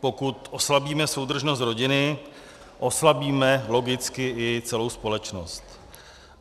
Pokud oslabíme soudržnost rodiny, oslabíme logicky i celou společnost.